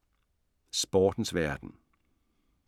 Sportens verden